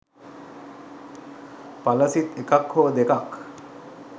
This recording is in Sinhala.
ඵල සිත් එකක් හෝ දෙකක්